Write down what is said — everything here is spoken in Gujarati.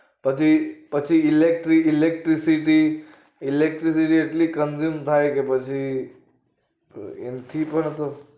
પછી પછી electric electricity એટલી consume થાય કે પછી એન થી પાછુ